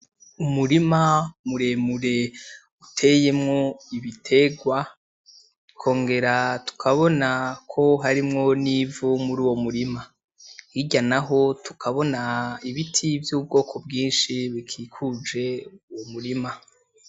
Umurima muremure uteyemwo ibitegwa. Tukongera tukabonako harimwo n'ivu muri uwo murima ,hirya naho tukabona ibiti vy'ubwoko bwinshi bikikuje umurima.